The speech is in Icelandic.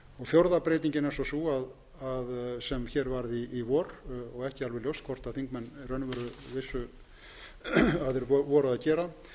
fjórða breytingin er svo sú sem hér varð í vor og ekki alveg ljóst hvort þingmenn í raun og veru vissu að þeir voru að gera